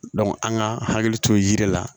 an ka hakili to yiri la